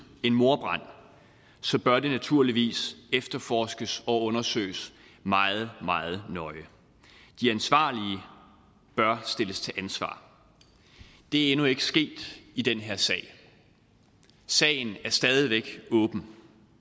en mordbrand så bør det naturligvis efterforskes og undersøges meget meget nøje de ansvarlige bør stilles til ansvar det er endnu ikke sket i den her sag og sagen er stadig væk åben